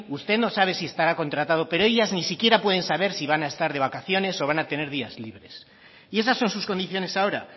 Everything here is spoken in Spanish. usted no sabe si estará contratado pero ellas ni siquiera pueden saber si van a estar de vacaciones o van a tener días libres y esas son sus condiciones ahora